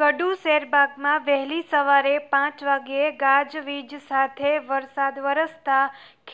ગડુ શેરબાગમાં વહેલી સવારે પ વાગ્યે ગાજવીજ સાથે વરસાદ વરસતા